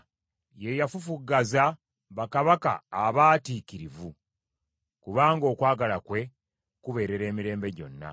Ye yafufuggaza bakabaka abaatiikirivu, kubanga okwagala kwe kubeerera emirembe gyonna.